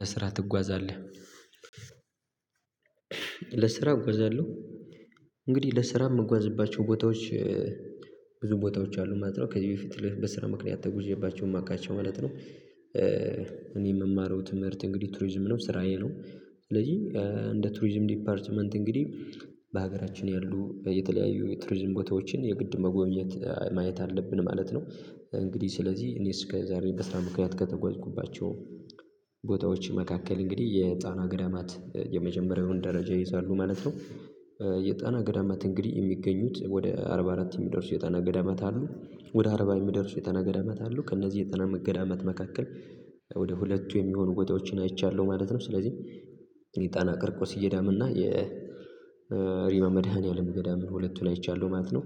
ለስራ ትጓዛለህ? ለስራ እጓዛለሁ። እንግዲህ ለስራ የምጓዝባቸው ቦታዎች ብዙ ቦታዎች አሉ ማለት ነው ከዚህ በፊት በስራ ምክንያት ተጉዤባቸው የማውቃቸው ማለት ነው። እኔ የምማረው ትምህርት እንግዲህ ቱሪዝም ነው ስራዬ ነው። ስለዚህ እንደ ቱሪዝም ዲፓርትመንት እንግዲህ በሀገራችን ያሉ የተለያዩ የቱሪዝም ቦታዎችን የግድ መጎብኘት ማየት አለብን ማለት ነው። እንግዲህ ስለዚህ እኔ እስከ ዛሬ በስራ ምክንያት ከተጓዝኩባቸው ቦታዎች መካከል እንግዲህ የጣና ገዳማት የመጀመሪያውን ደረጃ ይይዛሉ ማለት ነው። የጣና ገዳማት እንግዲህ የሚገኙት ወደ አርባ አራት የሚደርሱ የጣና ገዳማት አሉ ወደ አርባ የሚደርሱ የጠና ገዳመት አሉ ከእነዚህ የጣና ገዳማት መካከል ወደ ሁለቱ የሚሆኑ ቦታዎችን አይቻለሁ ማለት ነው። ስለዚህ የጣና ቂርቆስ ገዳምና የ የሪባ መድኃኒዓለም ገዳምን ሁለቱ ላይ አይቻለሁ ማለት ነው።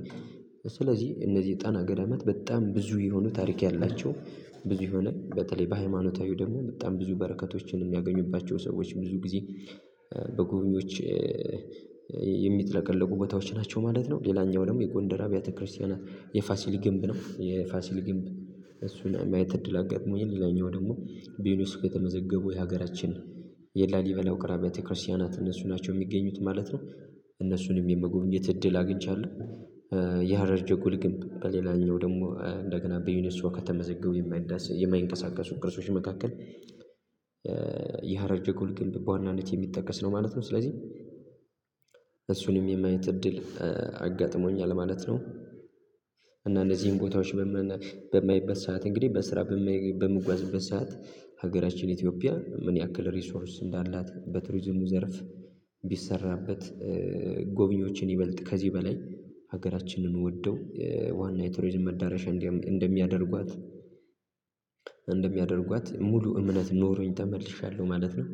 ስለዚህ እነዚህ የጣና ገዳማት በጣም ብዙ የሆኑ ታሪክ ያላቸው ብዙ የሆነ በተለይ በሃይማኖታዊው ደግሞ በጣም ብዙ በረከቶችን የሚያገኙባቸው ሰዎች ብዙ ጊዜ በጎብኝዎች የሚጥለቀለቁ ቦታዎች ናቸው ማለት ነው። ሌላኛው ደግሞ የጎንደር አብያተ ክርስቲያናት የፋሲል ግንብ ነው የፋሲል ግንብ እሱን የማየት እድል አጋጥሞኝ ሌላኛው ደግሞ በዩኔስኮ የተመዘገቡ የሀገራችን የላሊበላ ውቅር አቢያተ ክርስቲያናት እነሱ ናቸው የሚገኙት ማለት ነው። እነሱንም የመጎብኘት እድል አግኝቻለሁ። የሀረር ጀጎል ግንብ በሌላኛው ደግሞ በዩኔስኮ ከተመዘገቡ የማይዳስ የማይንቀሳቀሱ ቅርሶች መካከል የሀረር ጀጎል ግንብ በዋናነት የሚጠቀስ ነው ማለት ነው። ስለዚህ እሱንም የማየት እድል አጋጥሞኛል ማለት ነው። እና እነዚህን ቦታዎች በማይበት ሰዓት እንግዲህ በስራ በምጓዝበት ሰዓት ሀገራችን ኢትዮጵያ ምን ያክል ሪሶርስ እንዳላት በቱሪዝሙ ዘርፍ ቢሰራበት ጎብኚዎችን ይበልጥ ከዚህ በላይ ሀገራችንን ወደው ዋና የቱሪዝም መዳረሻ እንደሚያደርጓት እንደሚያደርጓት ሙሉ እምነት ኖሮኝ ተመልሻለሁ ማለት ነው